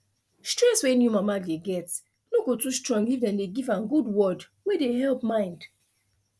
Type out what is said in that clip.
stress wey new mama dey get no go too strong if dem dey give am good word wey dey help mind